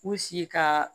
U si ka